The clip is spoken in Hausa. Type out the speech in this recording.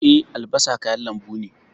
Eh, albasa kayan lambu ne.